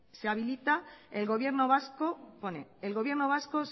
pone